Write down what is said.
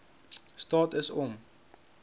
staat is om